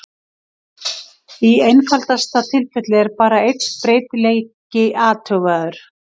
Í einfaldasta tilfelli er bara einn breytileiki athugaður.